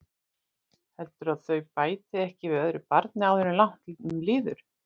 Heldurðu að þau bæti ekki við öðru barni áður en langt um líður?